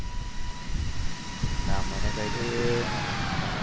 ના મને કંઈ ખબર